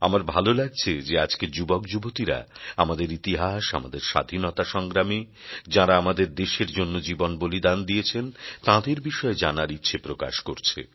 আমার ভালো লাগছে যে আজকের যুবক যুবতীরা আমাদের ইতিহাস আমাদের স্বাধীনতা সংগ্রামী যাঁরা আমাদের দেশের জন্য জীবন বলিদান দিয়েছেন তাঁদের বিষয়ে জানার ইচ্ছে প্রকাশ করছে